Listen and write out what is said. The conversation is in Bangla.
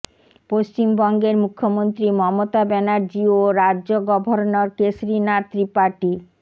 পশ্বিমবঙ্গের মুখ্যমন্ত্রী মমতা ব্যানার্জী ও রাজ্য গভর্নর কেশরি নাথ ত্রিপাঠি